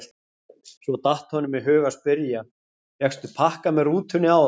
Svo datt honum í hug að spyrja: fékkstu pakka með rútunni áðan?